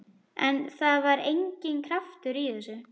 En það var enginn kraftur í þessu.